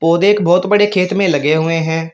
बहोत बड़े खेत में लगे हुए है।